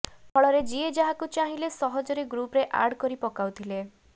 ଫଳରେ ଯିଏ ଯାହାକୁ ଚାହିଁଲେ ସହଜରେ ଗ୍ରୁପ୍ରେ ଆଡ କରି ପକାଉଥିଲେ